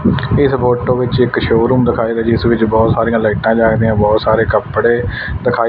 ਇਸ ਫੋਟੋ ਵਿੱਚ ਇੱਕ ਸ਼ੋਰੂਮ ਦਿਖਾਏਗਾ ਜਿਸ ਵਿੱਚ ਬਹੁਤ ਸਾਰੀਆਂ ਲਾਈਟਾਂ ਜੱਗਦੀਆਂ ਬਹੁਤ ਸਾਰੇ ਕੱਪੜੇ ਦਿਖਾਈ--